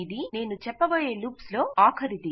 ఇది నేను చెప్పబోయే లూప్స్ లో చివరిది